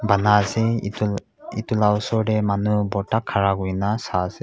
ana ase itu itu la osor teh manu borta khara kurina saiase.